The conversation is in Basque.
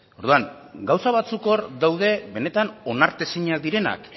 orduan gauza batzuk hor daude benetan onartezinak direnak